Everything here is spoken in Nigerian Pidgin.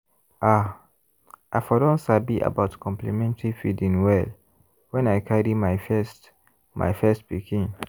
ah! i for don sabi about complementary feeding well when i carry my first my first pikin.